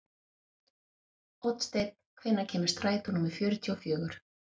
Oddsteinn, hvenær kemur strætó númer fjörutíu og fjögur?